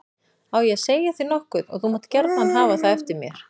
Á ég að segja þér nokkuð og þú mátt gjarna hafa það eftir mér.